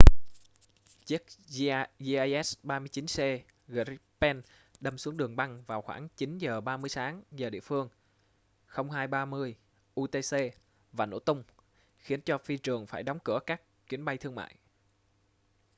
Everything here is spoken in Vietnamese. chiếc jas 39c gripen đâm xuống đường băng vào khoảng 9:30 sáng giờ địa phương 0230 utc và nổ tung khiến cho phi trường phải đóng cửa các chuyến bay thương mại